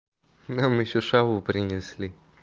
нам ещё шаву принесли